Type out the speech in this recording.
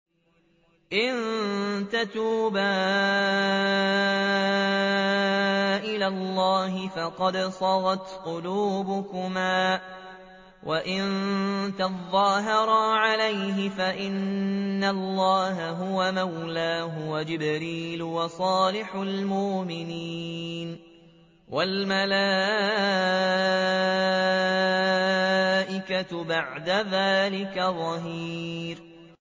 إِن تَتُوبَا إِلَى اللَّهِ فَقَدْ صَغَتْ قُلُوبُكُمَا ۖ وَإِن تَظَاهَرَا عَلَيْهِ فَإِنَّ اللَّهَ هُوَ مَوْلَاهُ وَجِبْرِيلُ وَصَالِحُ الْمُؤْمِنِينَ ۖ وَالْمَلَائِكَةُ بَعْدَ ذَٰلِكَ ظَهِيرٌ